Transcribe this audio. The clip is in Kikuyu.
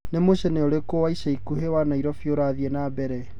ni mucene ũrĩkũ wa ĩca ĩkũhĩ wa naĩrobĩ ũrathĩĩ na mbere